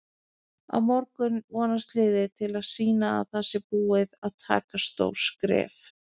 Á morgun vonast liðið til að sýna að það sé búið að taka stór skref.